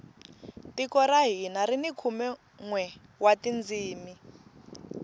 tiko ra hina rini khume nwe wa tindzimi